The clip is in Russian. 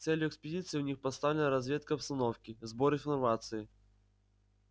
целью экспедиции у них поставлена разведка обстановки сбор информации